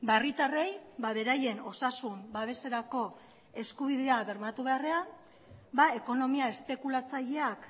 herritarrei beraien osasun babeserako eskubidea bermatu beharrean ekonomia espekulatzaileak